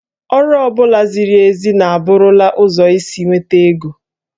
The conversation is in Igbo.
Ọrụ ọ bụla ziri ezi a bụrụla ụzọ isi nweta ego